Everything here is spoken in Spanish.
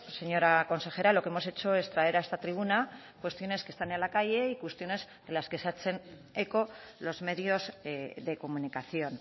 señora consejera lo que hemos hecho es traer a esta tribuna cuestiones que están en la calle y cuestiones de las que se hacen eco los medios de comunicación